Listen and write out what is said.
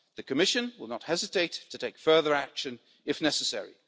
The Commission will not hesitate to take further action if necessary.